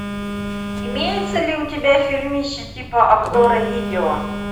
имеется ли у тебя фильмище типа обзора видео